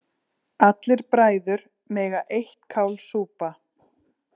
Allir bræður mega eitt kál súpa.